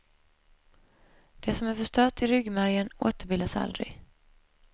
Det som är förstört i ryggmärgen återbildas aldrig.